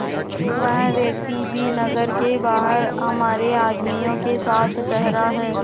वह व्यक्ति भी नगर के बाहर हमारे आदमियों के साथ ठहरा है